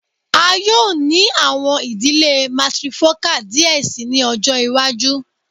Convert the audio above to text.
A yoo ni awọn idile matrifocal diẹ sii ni ọjọ iwaju